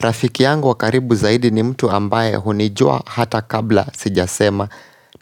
Rafiki yangu wakaribu zaidi ni mtu ambaye hunijua hata kabla sijasema